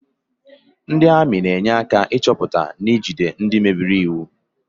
Ndị ami na-enye aka ịchọpụta na ijide ndị mebere iwu